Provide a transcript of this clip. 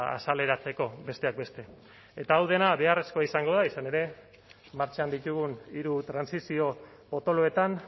azaleratzeko besteak beste eta hau dena beharrezkoa izango da izan ere martxan ditugun hiru trantsizio potoloetan